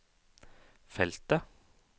feltet